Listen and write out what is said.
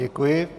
Děkuji.